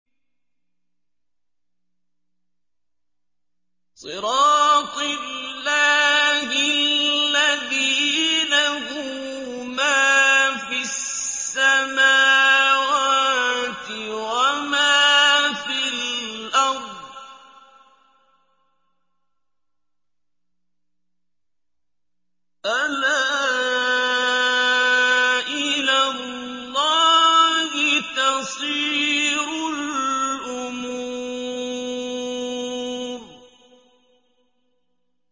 صِرَاطِ اللَّهِ الَّذِي لَهُ مَا فِي السَّمَاوَاتِ وَمَا فِي الْأَرْضِ ۗ أَلَا إِلَى اللَّهِ تَصِيرُ الْأُمُورُ